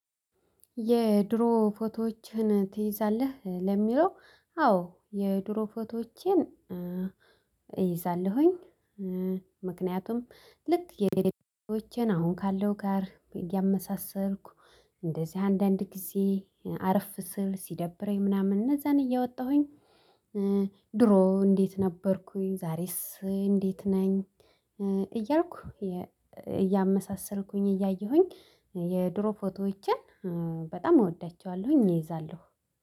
የድሮ ፎቶዎችን ትይዛለህ ለሚለው? አዎ የድሮ ፎቶዎቼን ይዛለሁኝ። ምክንያቱም ልክ የሌሎቼን አሁን ካለው ጋር እያመሳሰልኩ እንደዚህ አንዳንድ ጊዜ አረፍ ስል ሲደብረኝ ምናምን እነዛን እየወጣሁኝ። ድሮ እንዴት ነበርኩኝ ዛሬስ እንዴት ነኝ? እያልኩ እያመሳሰልኩኝ እያየሁኝ የድሮ ፎቶዎችን በጣም እወዳቸዋለሁኝ። እይዛለሁ